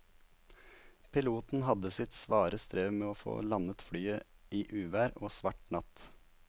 Piloten hadde sitt svare strev med å få landet flyet i uvær og svart natt.